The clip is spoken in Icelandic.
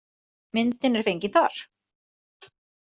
Myndin er fengin þar.